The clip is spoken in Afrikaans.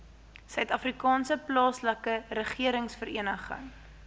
suidafrikaanse plaaslike regeringsvereniging